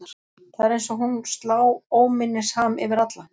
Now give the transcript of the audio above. Það er eins og hún slá óminnisham yfir alla.